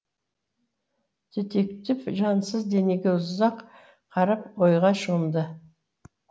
детектив жансыз денеге ұзақ қарап ойға шомды